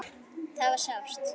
Það var sárt.